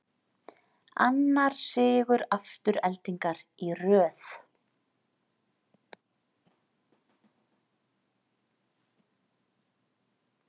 Annar sigur Aftureldingar í röð